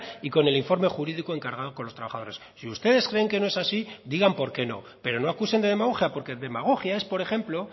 y con el informe jurídico encargado con los trabajadores si ustedes creen que no es así digan por qué no pero no acusen de demagogia porque demagogia es por ejemplo